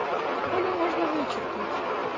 колю можно вычеркнуть